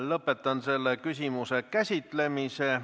Lõpetan selle küsimuse käsitlemise.